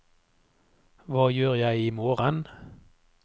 hva gjør jeg imorgen